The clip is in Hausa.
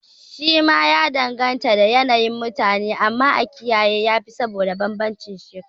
Shi ma ya danganta da yanayin mutane, amma a kiyaye wa yafi saboda banbancin shekaru